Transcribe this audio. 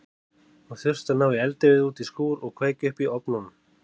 Hún þurfti að ná í eldivið út í skúr og kveikja upp í ofnunum.